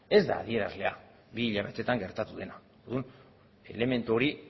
ez da adierazlea bi hilabetetan gertatu dena orduan elementu hori